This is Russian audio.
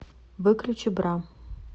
выключи бра